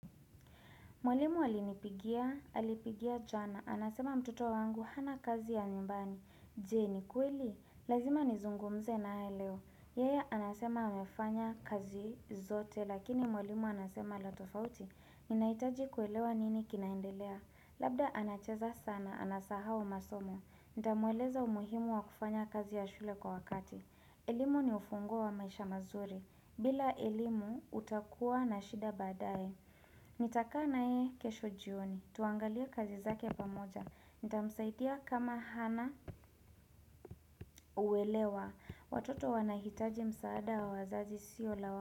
Mwalimu alinipigia, alinipigia jana, anasema mtoto wangu hana kazi ya nyumbani. Je, ni kweli? Lazima nizungumze naye leo. Yeye anasema amefanya kazi zote, lakini mwalimu anasema la tofauti. Ninahitaji kuelewa nini kinaendelea. Labda anacheza sana, anasahau masomo. Nitamueleza umuhimu wa kufanya kazi ya shule kwa wakati. Elimu ni ufunguo wa maisha mazuri. Bila elimu utakuwa na shida baadaye. Nitakaa na yeye kesho jioni Tuangalia kazi zake pamoja Nitamsaidia kama hana uwelewa Watoto wanahitaji msaada wa wazazi siyo la.